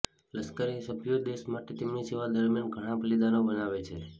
લશ્કરી સભ્યો દેશ માટે તેમની સેવા દરમિયાન ઘણાં બલિદાનો બનાવે છે